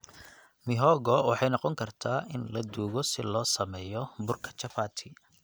Mihogo waxay noqon kartaa in la duugo si loo sameeyo burka chapati.